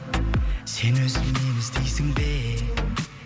сен өзің мені іздейсің бе